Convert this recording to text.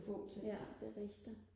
ja det rigtigt